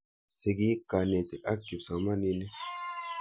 Sigik, kanetik ak kipsomaninik.